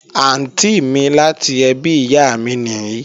Àntí mi láti ẹbí ìyá mi nìí